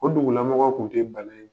O dugulamɔgɔw kun tɛ bana ye.